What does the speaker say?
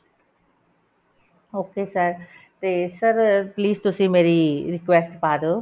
okay sir ਤੇ sir please ਤੁਸੀਂ ਮੇਰੀ request ਪਾਦੋ